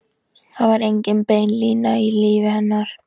Það var engin bein lína í lífi hennar.